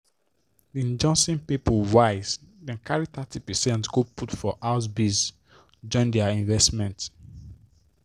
di johnson people wise dem carry thirty percent go put for house biz join their investment.